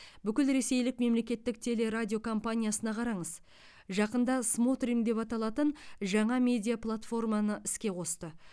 бүкілресейлік мемлекеттік теле радио компаниясына қараңыз жақында смотрим деп аталатын жаңа медиа платформаны іске қосты